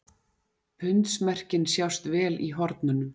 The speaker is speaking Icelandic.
pundsmerkin sjást vel í hornunum